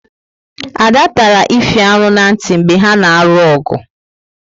Ada tara Ify arụ na nti mgbe ha na arụ ogu